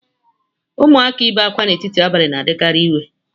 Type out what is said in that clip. Ụmụaka ị be ákwá n'etiti abalị na-adịkarị iwe